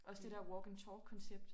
Også det der walk and talk koncept